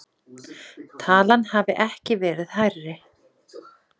Talan hafi ekki verið hærri